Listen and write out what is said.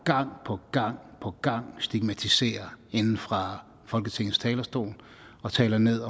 gang på gang på gang stigmatiserer fra folketingets talerstol og taler ned